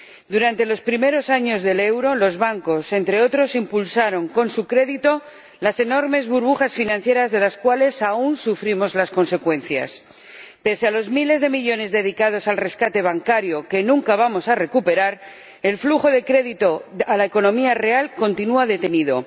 Durante los primeros años del euro, los bancos, entre otros, impulsaron con su crédito las enormes burbujas financieras, cuyas consecuencias aún sufrimos. Pese a los miles de millones de euros dedicados al rescate bancario, que nunca vamos a recuperar, el flujo de crédito a la economía real continúa detenido.